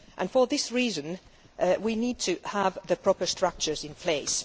For this reason, we need to have the proper structures in place.